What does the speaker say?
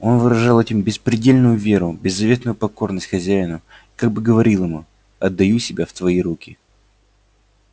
он выражал этим беспредельную веру беззаветную покорность хозяину и как бы говорил ему отдаю себя в твои руки